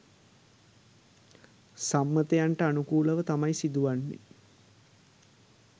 සම්මතයන්ට අනුකූලව තමයි සිදුවන්නේ.